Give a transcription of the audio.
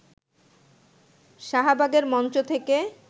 শাহবাগের মঞ্চ থেকে